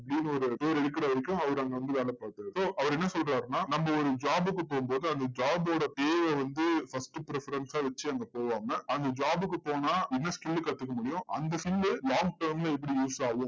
ஒரு இது இருக்கிற வரைக்கும் அவர் அங்க வந்து வேலை பார்த்தாரு. so அவர் என்ன சொல்றாருன்னா, நம்ம ஒரு job க்கு போகும்போது அந்த job ஓட pay வை வந்து first preference ஸா வச்சு அங்க போகாம, அந்த job க்கு போனா, என்ன skill ல கத்துக்க முடியும் அந்த skill long term ல எப்படி use ஆகும்